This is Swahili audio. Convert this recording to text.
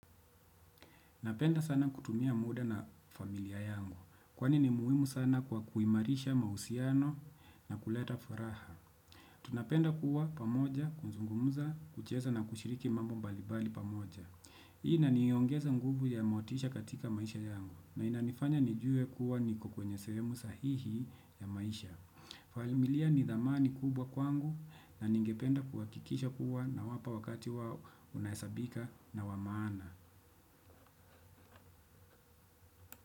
Napenda sana kutumia muda na familia yangu. Kwani ni muhimu sana kwa kuimarisha mahusiano na kuleta furaha. Tunapenda kuwa pamoja, kuzungumuza, kucheza na kushiriki mambo mbalibali pamoja. Hii inaniongeza nguvu ya motisha katika maisha yangu. Na inanifanya nijue kuwa niko kwenye sehemu sahihi ya maisha. Familia ni dhamani kubwa kwangu na ningependa kuhakikisha kuwa nawapa wakati wao unahesabika na wa maana.